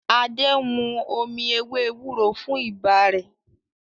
Ade nmú omí ewé ewúro fún ibà Re